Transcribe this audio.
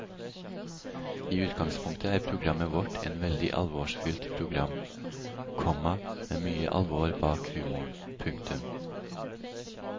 I utgangspunktet er programmet vårt et veldig alvorsfylt program, komma med mye alvor bak humoren. punktum